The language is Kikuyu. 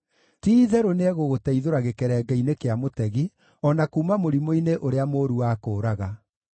Ti-itherũ nĩegũgũteithũra gĩkerenge-inĩ kĩa mũtegi, o na kuuma mũrimũ-inĩ ũrĩa mũũru wa kũũraga.